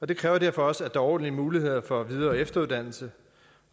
det kræver derfor også at der er ordentlige muligheder for videre og efteruddannelse